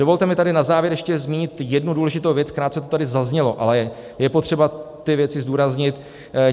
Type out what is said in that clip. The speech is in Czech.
Dovolte mi tady na závěr ještě zmínit jednu důležitou věc, krátce to tady zaznělo, ale je potřeba ty věci zdůraznit.